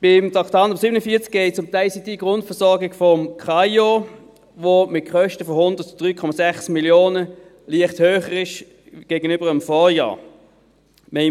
Beim Traktandum 47 geht es um die ICTGrundversorgung des Amtes für Informatik und Organisation (KAIO), das mit Kosten von 103,6 Mio. Franken gegenüber dem Vorjahr leicht höher ist.